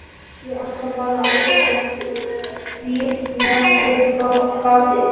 Ég ætlaði bara að setja vírnet fyrir gatið